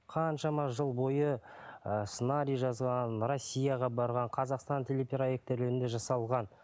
қаншама жыл бойы ыыы сценарий жазған россияға барған қазақстан телепроектілерінде жасалған